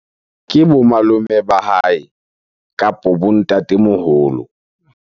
Ke bo malome ba hae kapo bo ntatemoholo.